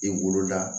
I wolo la